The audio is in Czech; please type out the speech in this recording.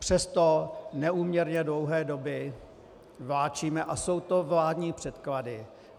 Přesto neúměrně dlouhé doby vláčíme - a jsou to vládní předklady.